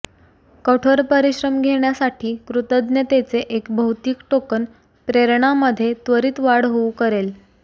कठोर परिश्रम घेण्यासाठी कृतज्ञतेचे एक भौतिक टोकन प्रेरणा मध्ये त्वरित वाढ होऊ करेल